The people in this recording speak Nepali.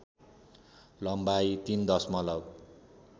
लम्बाइ ३ दशमलव